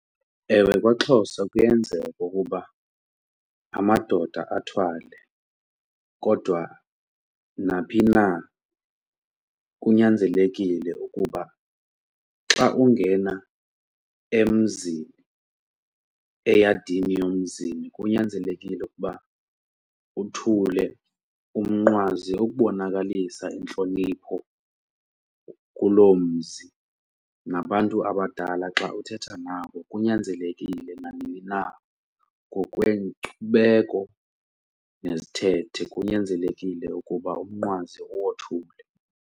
Ewe, kwaXhosa kuyenzeka ukuba amadoda athwale kodwa naphi na kunyanzelekile ukuba xa ungena emzini, eyadini yomzini, kunyanzelekile ukuba uthule umnqwazi ukubonakalisa intlonipho kuloo mzi nabantu abadala xa uthetha nabo kunyanzelekile nanini na ngokwenkcubeko nezithethe kunyanzelekile ukuba umnqwazi uwothule.